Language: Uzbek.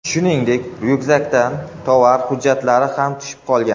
Shuningdek, ryukzakdan tovar hujjatlari ham tushib qolgan.